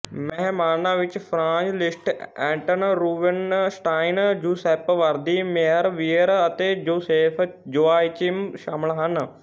ਮਹਿਮਾਨਾਂ ਵਿੱਚ Franz Liszt Anton Rubinstein Giuseppe Verdi Meyerbeer ਅਤੇ ਜੋਸੇਫ ਜੋਆਚਿਮ ਸ਼ਾਮਲ ਸਨ